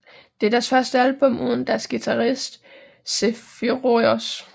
Det er deres første album uden deres guitarist Zephyrous